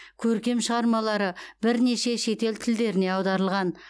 көркем шығармалары бірнеше шетел тілдеріне аударылған